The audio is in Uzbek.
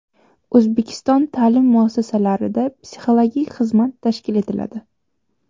O‘zbekiston ta’lim muassasalarida psixologik xizmat tashkil etiladi.